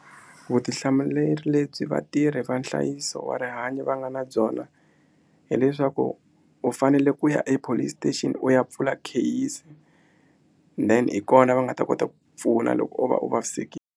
Vutihlamuleri lebyi vatirhi va nhlayiso wa rihanyo va nga na byona hileswaku u fanele ku ya epolice station u ya pfula kheyisi then hi kona va nga ta kota ku pfuna loko o va u vavisekile.